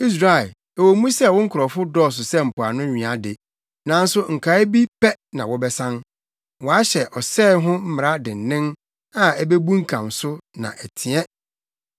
Israel, ɛwɔ mu sɛ wo nkurɔfo dɔɔso sɛ mpoano nwea de, nanso nkae bi pɛ na wɔbɛsan. Wɔahyɛ ɔsɛe ho mmara dennen a ebebunkam so na ɛteɛ.